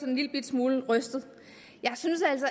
en lillebitte smule rystet jeg synes altså